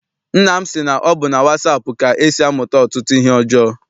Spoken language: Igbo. Nna m sị na ọ bụ na wasaapụ ka e si amụta ọtụtụ ihe ọjọọ.